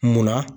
Munna